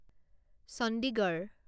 Chandigarh